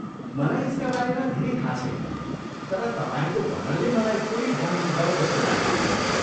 मलाई यसका बारेमा धेरै थाहा छैन, तर तपाईँको वर्णनले मलाई फेरि जाउँ जाउँ जस्तो लाग्दैछ।